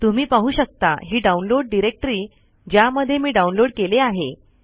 तुम्ही पाहू शकता हि डाउनलोड डायरेक्टरी ज्यामध्ये मी डाउनलोड केले आहे